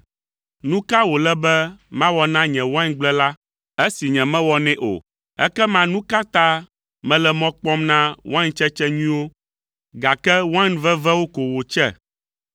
Nu ka wòle be mawɔ na nye waingble la esi nyemewɔ nɛ o? Ekema nu ka ta mele mɔ kpɔm na waintsetse nyuiwo, gake wain vevewo ko wòtse?